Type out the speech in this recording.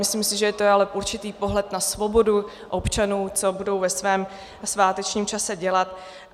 Myslím si, že to je ale určitý pohled na svobodu občanů, co budou ve svém svátečním čase dělat.